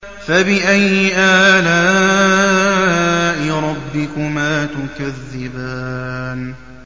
فَبِأَيِّ آلَاءِ رَبِّكُمَا تُكَذِّبَانِ